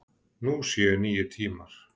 Nú séu nýir tímar.